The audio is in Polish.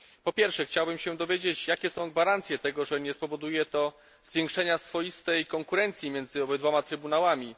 Po pierwsze, chciałbym się dowiedzieć, jakie są gwarancje, że nie spowoduje to zwiększenia swoistej konkurencji między obydwoma trybunałami.